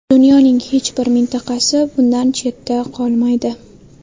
Dunyoning hech bir mintaqasi bundan chetda qolmaydi.